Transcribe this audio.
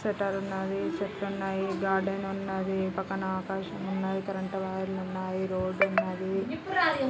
Shutter ఉన్నదీ చెట్లు ఉన్నాయి గార్డెన్ ఉంది .పక్కన ఆకాశం ఉంది కరెంట్ వైర్లు ఉన్నాయి రోడ్డు ఉన్నదీ .